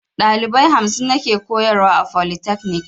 Dalibai hamsin nake koyarwa a folitakanik